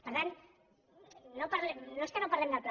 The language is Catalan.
per tant no és que no parlem del pla